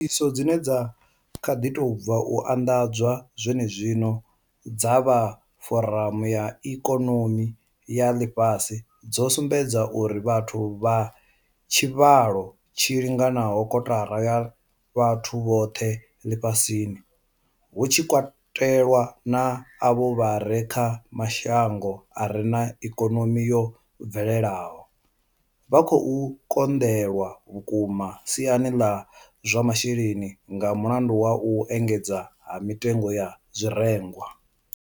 Ṱhoḓisiso dzine dza kha ḓi tou bva u anḓadzwa zwenezwino dza vha Foramu ya ikonomi ya Ḽifhasi dzo sumbedza uri vhathu vha tshivhalo tshi linganaho kotara ya vhathu vhoṱhe ḽifhasini, hu tshi katelwa na avho vha re kha mashango a re na ikonomi yo bvelelaho, vha khou konḓelwa vhukuma siani ḽa zwa masheleni nga mulandu wa u engedzea ha mitengo ya zwirengwa.